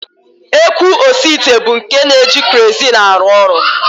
Ekwu osiite bụ nke na-eji kerozin arụ ọrụ